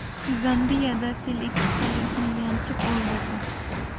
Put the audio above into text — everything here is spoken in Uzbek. Zambiyada fil ikki sayyohni yanchib o‘ldirdi.